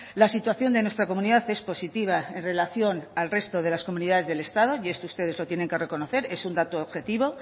la situación de nuestra comunidad es positiva en relación al resto de las comunidades del estado y esto ustedes lo tienen que reconocer es un dato objetivo